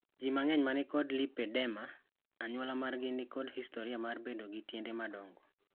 Ji mang`eny manikod lipedema, anyuola margi nikod historia mar bedo gi tiende madongo.